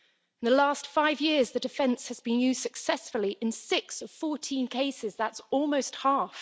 In the last five years, the defence has been used successfully in six out of 14 cases, that's almost half.